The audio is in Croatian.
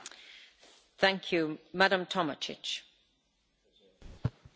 Gospođo predsjedavajuća, NATO je ključni okvir za europsku sigurnost.